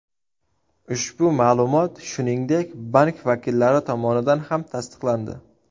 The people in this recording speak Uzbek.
Ushbu ma’lumot, shuningdek, bank vakillari tomonidan ham tasdiqlandi.